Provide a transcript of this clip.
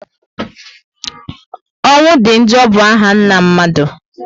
Ọnwụ di njọ bụ áhà nna mmadụ